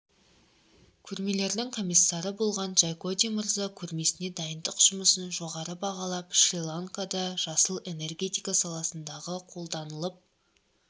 көрмелердің комиссары болған джайкоди мырза көрмесіне дайындық жұмысын жоғары бағалап шри-ланкада жасыл энергетика саласындағы қолданылып